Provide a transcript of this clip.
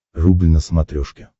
рубль на смотрешке